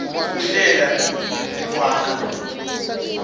kuhlela nekwakha